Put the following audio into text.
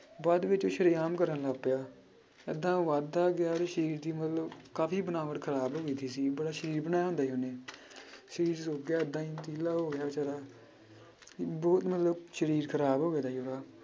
ਬਾਅਦ ਵਿੱਚ ਸ਼ਰੇਆਮ ਕਰਨ ਲੱਗ ਪਿਆ, ਏਦਾਂਂ ਵੱਧਦਾ ਗਿਆ ਉਹਦੇ ਸਰੀਰ ਦੀ ਮਤਲਬ ਕਾਫ਼ੀ ਬਣਾਵਟ ਖ਼ਰਾਬ ਹੋ ਗਈ ਸੀ, ਪਹਿਲਾਂ ਸਰੀਰ ਬਣਾਇਆ ਹੁੰਦਾ ਸੀ ਉਹਨੇ ਸਰੀਰ ਸੁੱਕ ਗਿਆ ਏਦਾਂ ਹੀ ਪੀਲਾ ਹੋ ਗਿਆ ਬੇਚਾਰਾ ਬਹੁਤ ਮਤਲਬ ਸਰੀਰ ਖ਼ਰਾਬ ਹੋ ਗਿਆ ਸੀ ਉਹਦਾ।